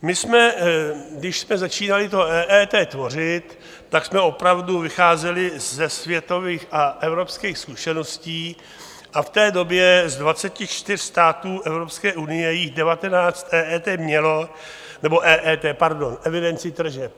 Když jsme začínali to EET tvořit, tak jsme opravdu vycházeli ze světových a evropských zkušeností, a v té době z 24 států Evropské unie jich 19 EET mělo - nebo EET, pardon, evidenci tržeb.